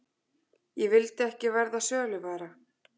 Ég vildi ekki verða söluvara.